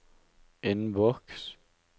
innboks